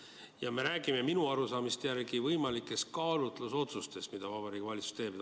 Ja me räägime minu arusaamise järgi võimalikest kaalutlusotsustest, mida Vabariigi Valitsus teeb.